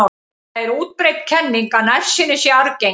Það er útbreidd kenning að nærsýni sé arfgeng.